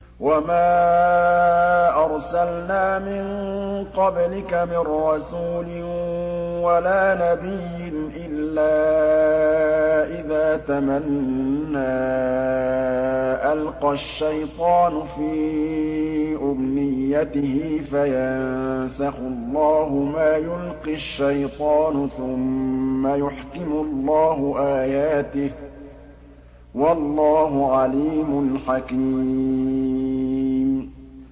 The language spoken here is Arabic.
وَمَا أَرْسَلْنَا مِن قَبْلِكَ مِن رَّسُولٍ وَلَا نَبِيٍّ إِلَّا إِذَا تَمَنَّىٰ أَلْقَى الشَّيْطَانُ فِي أُمْنِيَّتِهِ فَيَنسَخُ اللَّهُ مَا يُلْقِي الشَّيْطَانُ ثُمَّ يُحْكِمُ اللَّهُ آيَاتِهِ ۗ وَاللَّهُ عَلِيمٌ حَكِيمٌ